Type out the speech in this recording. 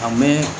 A mɛn